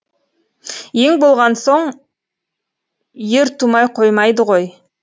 ел болған соң ер тумай қоймайды ғой